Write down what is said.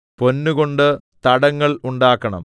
പൊന്ന് കൊണ്ട് തടങ്ങൾ ഉണ്ടാക്കണം